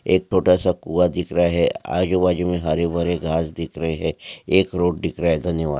एक छोटासा कुआ दिख रहा है। आजूबाजुमे हरे भरे घास दिख रहे है। एक रोड दिख रहा है धन्यवाद।